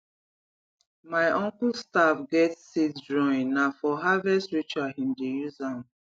my uncle staff get seed drawing na for harvest ritual him dey use am